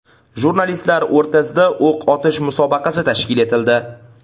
Jurnalistlar o‘rtasida o‘q otish musobaqasi tashkil etildi.